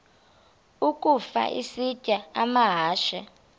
ukafa isitya amahashe